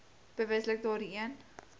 bewustelik daardie een